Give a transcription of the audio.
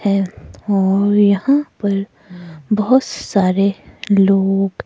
हैं और यहां पर बहुत सारे लोग--